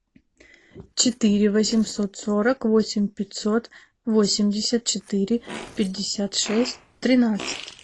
четыре восемьсот сорок восемь пятьсот восемьдесят четыре пятьдесят шесть тринадцать